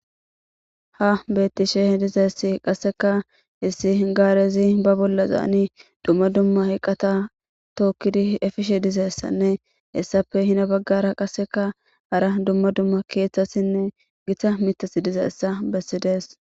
ha bettisheh dizassi qasseka issi gaarezi ba bolla zaani dumma dumma hiqqata tookkidi efishe dizessanne essappe hina baggara qasseka ara dumma dumma keeththassinne gita mitas dizeessa bessi dees